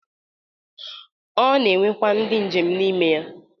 O na-enwekwa ndi njem n' ime ya